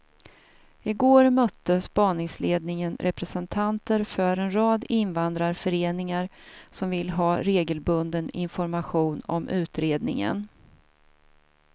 I går mötte spaningsledningen representanter för en rad invandrarföreningar som vill ha regelbunden information om utredningen.